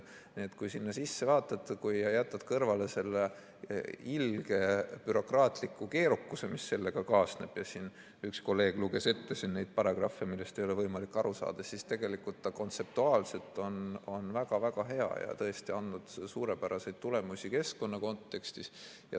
Nii et kui sinna sisse vaadata, kui jätta kõrvale see ilge bürokraatlik keerukus, mis sellega kaasneb – üks kolleeg luges ette siin neid paragrahve, millest ei ole võimalik aru saada –, siis tegelikult kontseptuaalselt on see väga-väga hea ja tõesti andnud suurepäraseid tulemusi keskkonna kontekstis.